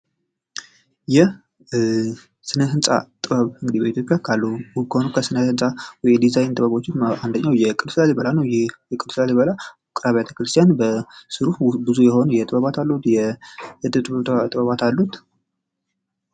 የስነ ህንፃ ጥበብ ውስጥ የላሊበላ ውቅር አብያተ ክርስቲያን ሲሆን የተለያዩ ጥበባት አሉት።